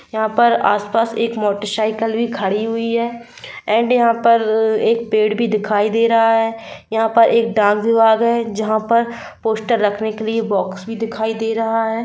यहाँ पर आस-पास एक मोटर साइकिल भी खड़ी हुई है एंड यहाँ पर एक पेड़ भी दिखाई दे रहा है यहाँ पर एक डांस विभाग है जहाँ पर पोस्टर रखने के लिए बॉक्स भी दिखाई दे रहा है।